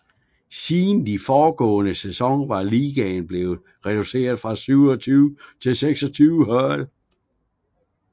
Siden den foregående sæson var ligaen blevet reduceret fra 27 til 26 hold